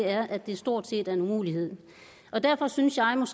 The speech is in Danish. er at det stort set er en umulighed derfor synes jeg